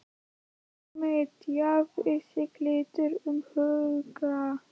Tommi tjáði sig lítið um áhuga